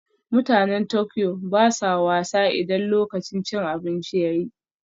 Mutanen Tokyo ba sa wasa idan lokacin cin abinci ya yi